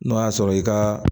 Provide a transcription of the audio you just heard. N'o y'a sɔrɔ i ka